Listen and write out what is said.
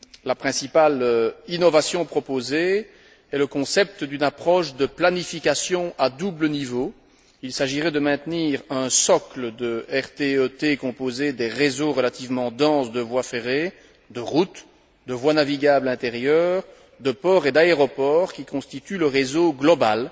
La principale innovation proposée est le concept d'une approche de planification à double niveau il s'agirait de maintenir un socle de RTE T composé des réseaux relativement denses de voies ferrées, de routes, de voies navigables intérieures, de ports et d'aéroports, qui constituent le réseau global,